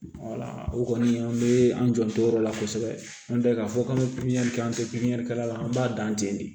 o kɔni an bɛ an janto o yɔrɔ la kosɛbɛ an tɛ k'a fɔ k'an bɛ pipiɲɛri kɛ an tɛ pipiniyɛrikɛla la an b'a dan ten de